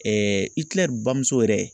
Ikilɛri bamuso yɛrɛ